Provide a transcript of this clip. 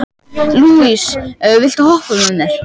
Líus, viltu hoppa með mér?